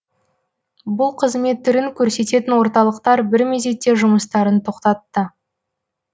бұл қызмет түрін көрсететін орталықтар бір мезетте жұмыстарын тоқтатты